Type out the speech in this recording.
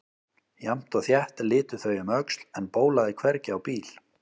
Jafnt og þétt litu þau um öxl en bólaði hvergi á bíl.